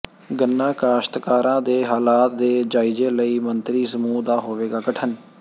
ਗੰਨਾ ਕਾਸ਼ਤਕਾਰਾਂ ਦੇ ਹਾਲਾਤ ਦੇ ਜਾਇਜ਼ੇ ਲਈ ਮੰਤਰੀ ਸਮੂਹ ਦਾ ਹੋਵੇਗਾ ਗਠਨ